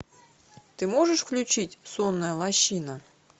ты можешь включить сонная лощина